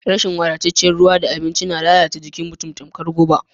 Rashin wadataccen ruwa da abinci na lalata jikin mutum tamkar guba.